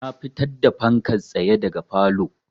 Na fitar da fankan tsaye daga falow